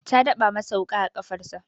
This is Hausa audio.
Ta daba masa wuƙa a kafarsa.